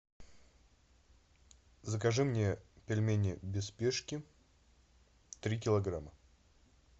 закажи мне пельмени без спешки три килограмма